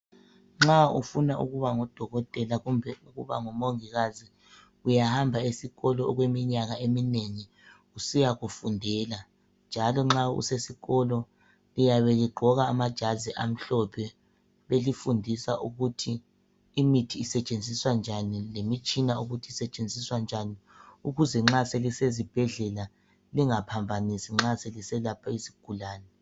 Nxa ufuna ukuba ngudokotela kumbe ukuba ngumongikazi uyahamba esikolo okweminyaka eminengi usiyakufundela, njalo nxa usesikolo liyabe ligqoka amajazi amhlophe. Belifundisa ukuthi imithi isetshenziswa njani lemitshina ukuthi isetshenziswa njani ukuze nxa selisezibhedlela lingaphambanisi nxa seliselapha izigulane.